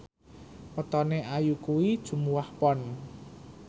wetone Ayu kuwi Jumuwah Pon